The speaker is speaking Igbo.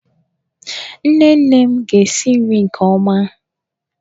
Nne nne m ga-esi nri nke ọma.